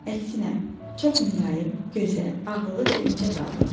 Əksinə, çox mülayim, gözəl, ağıllı və incə qadındır.